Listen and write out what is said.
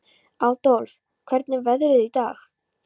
Aðólf, hvernig er veðrið í dag?